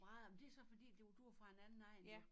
Vrader men det så fordi du du var fra en anden egn jo